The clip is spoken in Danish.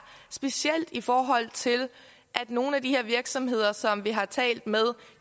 specielt i forhold til at nogle af de her virksomheder som vi har talt med